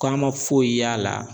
K'a ma foyi y'a la.